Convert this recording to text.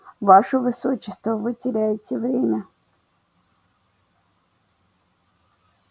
ваше высочество вы теряете время